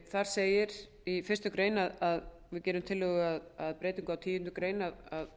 þar segir í fyrstu grein að við gerum tillögu að breytingu á tíundu grein að